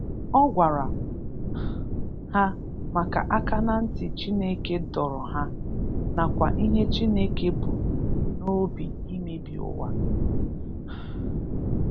Ọ gwara um ha maka aka na ntị Chineke dọrọ ha, nakwa ihe Chineke bu n'obi imebi ụwa. um